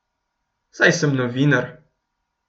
Saj sem novinar.